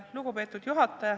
Lugupeetud juhataja!